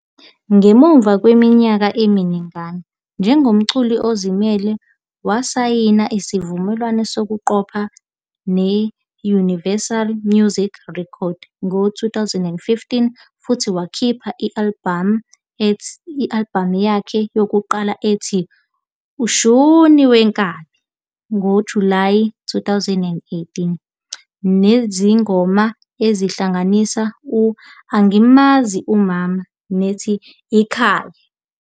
Ngemuva kweminyaka eminingana njengomculi ozimele, wasayina isivumelwano sokuqopha ne-Universal Music Records ngo-2015 futhi wakhipha i-albhamu yakhe yokuqala ethi "Ushun Wenkabi" ngoJulayi 2018, nezingoma ezihlanganisa "u-Ang'mazi umama" nethi "Ikhaya".